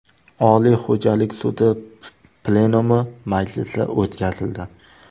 Oliy xo‘jalik sudi plenumi majlisi o‘tkazildi.